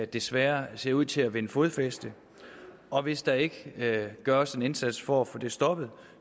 desværre ser ud til at vinde fodfæste og hvis der ikke gøres en indsats for at få det stoppet